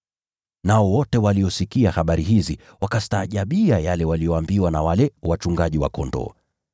Nao wote waliosikia habari hizi wakastaajabia yale waliyoambiwa na wale wachungaji wa kondoo.